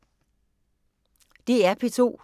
DR P2